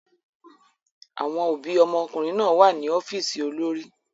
Àwọn òbí ọmọkùnrin náà wà ní ọ́fíìsì olórí.